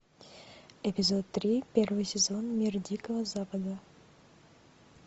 эпизод три первый сезон мир дикого запада